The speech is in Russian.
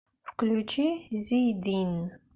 включи зийдин